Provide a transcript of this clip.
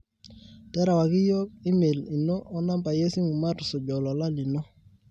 terewaki yiok email ino o nambai esimu matusuj olola lino